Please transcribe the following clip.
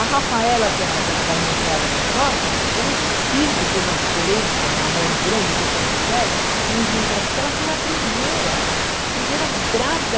A Rafaela, que é da da minha enteada mais nova, eu não consigo ver uma diferença no amor grande que eu tenho por ela com os meus netos, porque ela foi a primeira, a primeira grávida.